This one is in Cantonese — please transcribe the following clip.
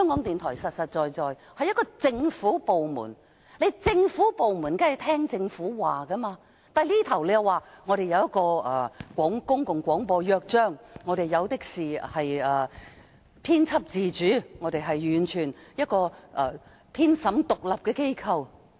港台實實在在是一個政府部門，當然要聽從政府，但港台指有一份"公共廣播約章"，有編輯自主，是一個編審完全獨立的機構。